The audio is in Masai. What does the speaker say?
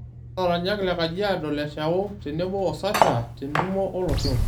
Olaranyak lekajiado leshao tenebo Sasha, tentumo olosho.